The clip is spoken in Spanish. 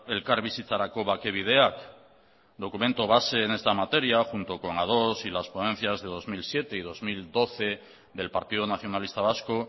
elkarbizitzarako bake bideak documento base en esta materia junto con ados y las ponencias de dos mil siete y dos mil doce del partido nacionalista vasco